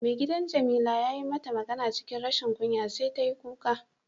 Maigidan jamila yayi mata magana cikin rashin kunya sai ta yi kuka.